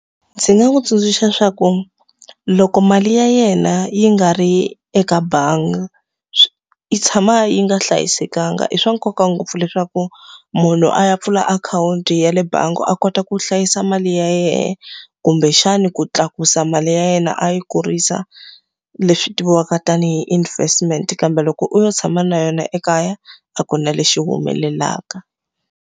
Ndzi nga n'wi tsundzuxa swa ku, loko mali ya yena yi nga ri eka bangi yi tshama yi nga hlayisekanga. I swa nkoka ngopfu leswaku munhu a ya pfula akhawunti ya le bangi a kota ku hlayisa mali ya yena, kumbexani ku tlakusa mali ya yena a yi kurisa, leswi tiviwaka tanihi investment. Kambe loko u lo tshama na yona ekaya, a ku na lexi humelelaka.